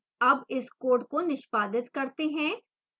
अब इस code को निष्पादित करते हैं